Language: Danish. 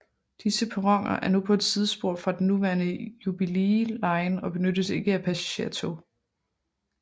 Disse perroner er nu på et sidespor fra den nuværende Jubilee line og benyttes ikke af passagertog